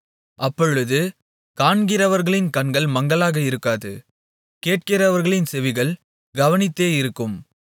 அப்பொழுது காண்கிறவர்களின் கண்கள் மங்கலாக இருக்காது கேட்கிறவர்களின் செவிகள் கவனித்தே இருக்கும்